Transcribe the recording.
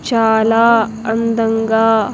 చాల అందంగా.